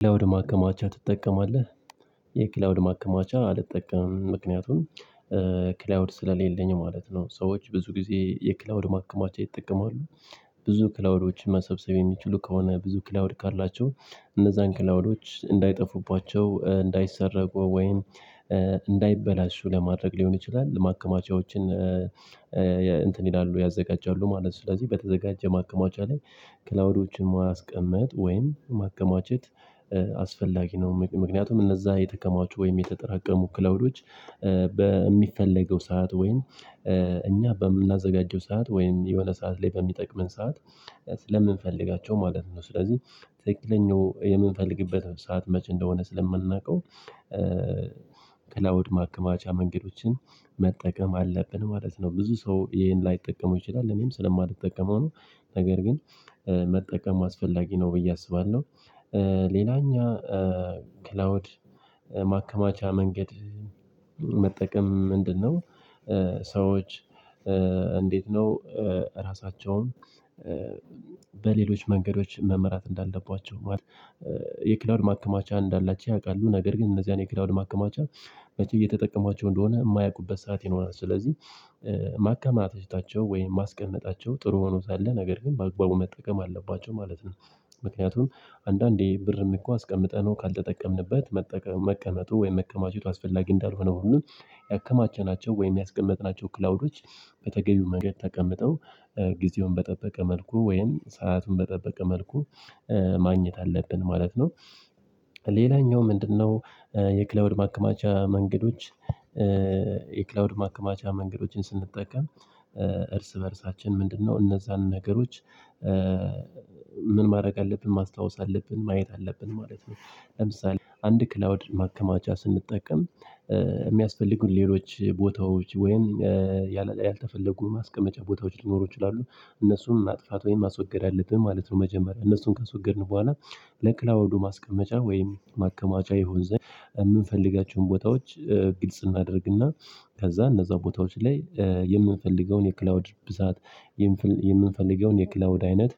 ክላውድ ማከማቻ ትጠቀማለህ? የክላውድ ማከማቻ አልጠቀምም ምክንያቱም ክላውድ ስለሌለኝ ማለት ነው። ሰዎች ብዙ ጊዜ የክላውድ ማከማቻ ይጠቀማሉ። ብዙ ክላውዶችን መሰብሰብ የሚችሉ ከሆነ ብዙ ክላውድ ካላቸው እነዛን ክላውዶች እንዳይጠፉባቸው እንዳይሰረቁ ወይም እንዳይበላሹ ለማድረግ ሊሆን ይችላል ማከማቻዎችን እንትን ይላሉ ያዘጋጃሉ ማለት ስለዚህ በተዘጋጀ ማከማቻ ላይ ክላውዶችን ማስቀመጥ ወይም ማከማቸት አስፈላጊ ነው። ምክንያቱም እነዛ የተከማቹ ወይም የተጠራቀሙ ክላውዶች በሚፈለገው ሰዓት ወይን እኛ በምናዘጋጀው ሰዓት ወይም የሆነ ሰዓት ላይ በሚጠቅመን ሰዓት ስለምንፈልጋቸው ማለት ነው። ስለዚህ ትክክለኛው የምንፈልግበት ሰዓት መቼ እንደሆነ ስለምናውቀው ክላውድ ማከማቻ መንገዶችን መጠቀም አለብን ማለት ነው። ብዙ ሰው ይሄን ላይጠቀመው ይችላሉ እኔም ስለማልጠቀመው ነው ነገር ግን መጠቀም አስፈላጊ ነው ብዬ አስባለሁ። ሌላኛው ክላውድ ማከማቻ መንገድ መጠቀም ምንድነው? ሰዎች እንዴት ነው ራሳቸውን በሌሎች መንገዶች መመራት እንዳለባቸው? የክላውድ ማከማቻ እንዳላቸው ያውቃሉ ነገር ግን እነዚህን የክላውድ ማከማቻ መቼ እየተጠቀሟቸው እንደሆነ የማያውቁበት ሰዓት ይኖራል። ስለዚህ ማከማቸታቸው ወይም ማስቀመጣቸው ጥሩ ሆኖ ሳለ ነገር ግን በአግባቡ መጠቀም አለባቸው ማለት ነው። ምክንያቱም አንዳንዴ ብርም እኮ አስቀምጠነው ካልተጠቀምንበት መቀመጡ ወይም መከማቸቱ አስፈላጊ እንዳልሆነ ሁሉ ያከማቸናቸው ወይም ያስቀመጥናቸው ክላውዶች በተገቢው መንገድ ተቀምጠው ጊዜውን በጠበቀ መልኩ ወይም ሰአቱን በጠበቀ መልኩ ማግኘት አለብን ማለት ነው። ሌላኛው ምንድነው? የክላውድ ማከማቻ መንገዶች የክላውድ ማከማቻ መንገዶችን ስንጠቀም እርስ በእርሳችን ምንድነው? እነዛን ነገሮች ምን ማድረግ አለብን ማስታወስ አለብን ማየት አለብን ማለት ነው። ለምሳሌ አንድ ክላውድ ማከማቻ ስንጠቀም የሚያስፈልጉን ሌሎች ቦታዎች ወይም ያልተፈለጉ ማስቀመጫ ቦታዎች ሊኖሩ ይችላሉ እነሱን ማጥፋት ወይም ማስወገድ አለብን ማለት ነው። መጀመሪያ እነሱን ካስወገድን በኋላ ለክላውዶ ማስቀመጫ ወይም ማከማቻ ይሆን ዘንድ የምንፈልጋቸውን ቦታዎች ግልጽ እናደርግና ከዛ እነዛ ቦታዎች ላይ የምንፈልገውን የክላውድ ብዛት የምንፈልገውን የክላውድ አይነት